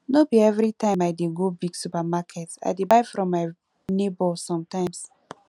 no be everytime i dey go big supermarket i dey buy from my nebor sometimes